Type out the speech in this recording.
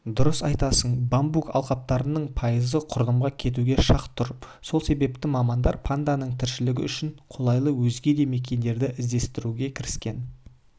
дұрыс айтасың бамбук алқаптарының пайызы құрдымға кетуге шақ тұр сол себепті мамандар панданың тіршілігі үшін қолайлы өзге де мекендерді іздестіруге кіріскен